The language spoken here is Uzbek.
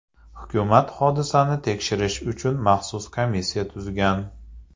Hukumat hodisani tekshirish uchun maxsus komissiya tuzgan.